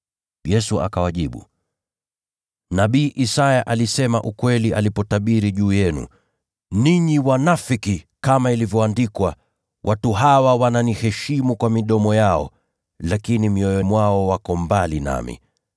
Yesu akawajibu, “Nabii Isaya alisema ukweli alipotabiri juu yenu, ninyi wanafiki. Kama ilivyoandikwa: “ ‘Watu hawa huniheshimu kwa midomo yao, lakini mioyo yao iko mbali nami.